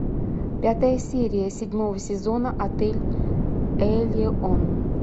пятая серия седьмого сезона отель элеон